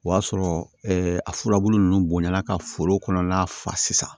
O y'a sɔrɔ a furabulu nunnu bonyala ka foro kɔnɔna fa sisan